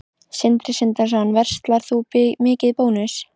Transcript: Sindri Sindrason: Verslar þú mikið í Bónus?